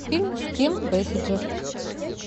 фильм с ким бейсингер